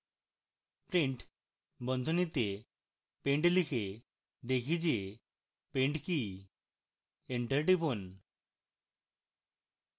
print বন্ধনীতে pend লিখে দেখি যে pend কি এন্টার টিপুন